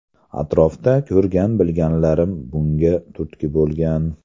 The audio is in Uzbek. Atrofda ko‘rgan-bilganlarim bunga turtki bo‘lgan.